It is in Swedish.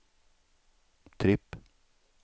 tripp